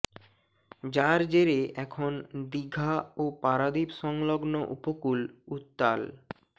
যার জেরে এখন দিঘা ও পারাদ্বীপ সংলগ্ন উপকূল উত্তাল